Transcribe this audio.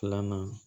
Filanan